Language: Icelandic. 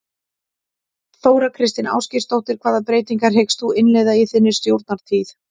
Þóra Kristín Ásgeirsdóttir: Hvaða breytingar hyggst þú innleiða í þinni stjórnartíð?